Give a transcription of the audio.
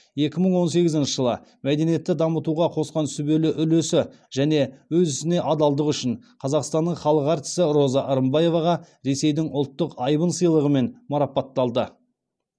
екі мың он сегізінші жылы мәдениетті дамытуға қосқан сүбелі үлесі және өз ісіне адалдығы үшін қазақстанның халық әртісі роза рымбаеваға ресейдің ұлттық айбын сыйлығымен марапатталды